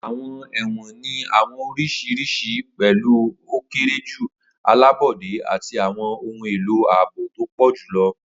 Awọn ẹwọn ni awọn oriṣi oriṣiriṣi, pẹlu o kere ju, alabọde, ati awọn ohun elo aabo to pọ julọ.